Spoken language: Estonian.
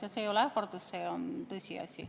Ja see ei ole ähvardus, see on tõsiasi.